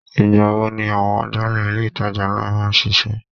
Ìgbà wo ni àwọn agbálẹ̀ ilé itàjà ńlá máa ń sise?